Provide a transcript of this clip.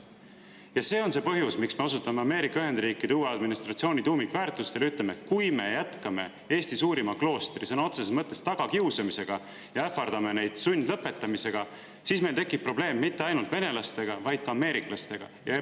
" Ja see on see põhjus, miks me osutame Ameerika Ühendriikide uue administratsiooni tuumikväärtustele ja ütleme, et kui me jätkame Eesti suurima kloostri sõna otseses mõttes tagakiusamisega ja ähvardame neid sundlõpetamisega, siis meil tekib probleem mitte ainult venelastega, vaid ka ameeriklastega.